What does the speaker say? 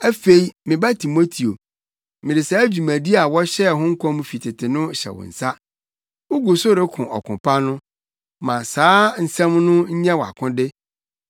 Afei me ba Timoteo, mede saa dwumadi a wɔhyɛɛ ho nkɔm fi tete no hyɛ wo nsa. Wugu so reko ɔko pa no, ma saa nsɛm no nyɛ wʼakode,